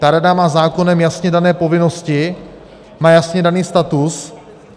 Ta rada má zákonem jasně dané povinnosti, má jasně daný status.